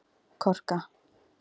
Korka